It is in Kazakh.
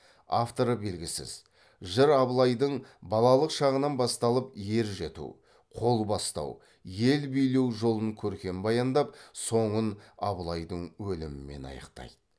авторы белгісіз жыр абылайдың балалык шағынан басталып ер жету қол бастау ел билеу жолын көркем баяндап соңын абылайдың өлімімен аяқтайды